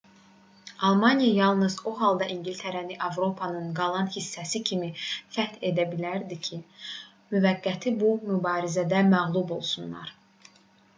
almaniya yalnız o halda i̇ngiltərəni avropanın qalan hissəsi kimi fəth edə bilərdi ki müttəfiqlər bu mübarizədə məğlub olsunlar